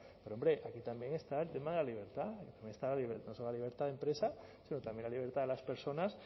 pero hombre aquí también está el tema de la libertad está libertad de empresa pero también la libertad de las personas